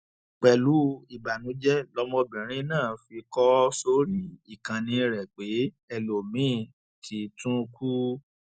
pẹlú ìbànújẹ lọmọbìnrin náà fi kọ ọ sórí ìkànnì rẹ pé ẹlòmíín ti tún kù